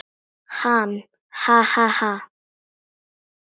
Hann: Ha ha ha.